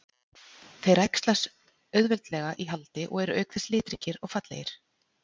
Þeir æxlast auðveldlega í haldi og eru auk þess litríkir og fallegir.